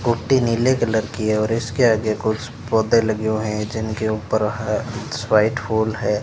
Putty नीले colour की है और इसके आगे कुछ पौधे लगे हुए हैं जिनके ऊपर है वाइट फूल है।